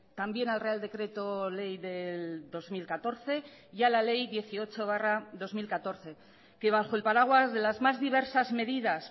también al real decreto ley del dos mil catorce y a la ley dieciocho barra dos mil catorce que bajo el paraguas de las más diversas medidas